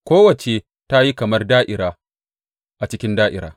Kowacce ta yi kamar da’ira a cikin da’ira.